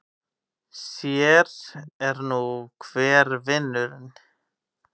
Sér er nú hver vinurinn!